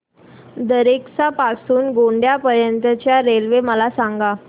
दरेकसा पासून ते गोंदिया पर्यंत च्या रेल्वे मला सांगा